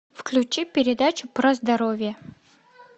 включи передачу про здоровье